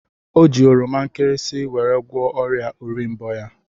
O ji oroma nkịrịsịmee weri gwoọ oria orimbo ya.